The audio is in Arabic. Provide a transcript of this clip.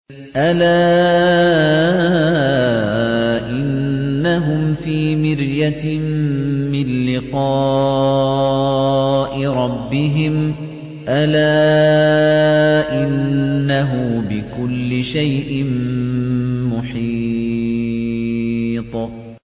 أَلَا إِنَّهُمْ فِي مِرْيَةٍ مِّن لِّقَاءِ رَبِّهِمْ ۗ أَلَا إِنَّهُ بِكُلِّ شَيْءٍ مُّحِيطٌ